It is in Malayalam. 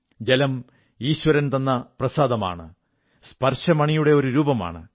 ജലം ഈശ്വരൻ തന്ന പ്രസാദമാണ് സ്പർശമണിയുടെ ഒരു രൂപമാണ്